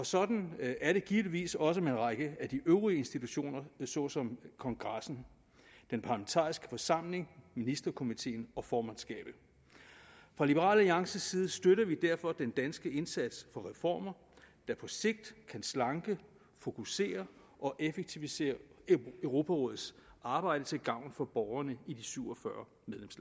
sådan er det givetvis også med en række af de øvrige institutioner såsom kongressen den parlamentariske forsamling ministerkomiteen og formandskabet fra liberal alliances side støtter vi derfor den danske indsats for reformer der på sigt kan slanke fokusere og effektivisere europarådets arbejde til gavn for borgerne i de syv og fyrre